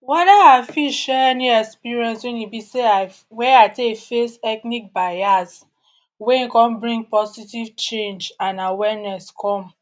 Whether I fit share any experience wey e be sey I wey I take face ethnic bias wey come bring positive change and awareness come.